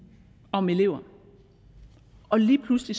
om elever og lige pludselig